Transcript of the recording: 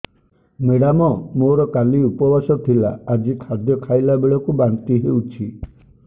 madam ମୋର କାଲି ଉପବାସ ଥିଲା ଆଜି ଖାଦ୍ୟ ଖାଇଲା ବେଳକୁ ବାନ୍ତି ହେଊଛି